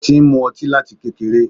Ó ti ń mú ọtí láti kékeré.